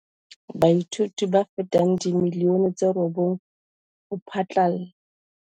Baithuti ba fetang dimilione tse robong ho phatlalla